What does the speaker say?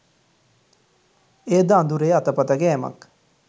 එයද අඳුරේ අතපත ගෑමක්